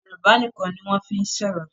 Yorùbá nìkàn ni wọ́n fí ń sọ̀rọ̀